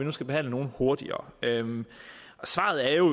vi skal behandle nogle hurtigere svaret er jo